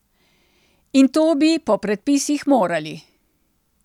In to bi po predpisih morali.